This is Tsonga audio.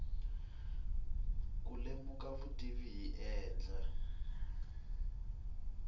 ku lemuka vutivi hi ndlela